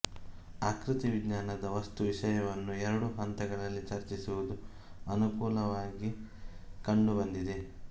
ಆಕೃತಿ ವಿಜ್ಞಾನದ ವಸ್ತು ವಿಷಯವನ್ನು ಎರಡು ಹಂತಗಳಲ್ಲಿ ಚರ್ಚಿಸುವುದು ಅನುಕೂಲವಾಗಿ ಕಂಡು ಬಂದಿದೆ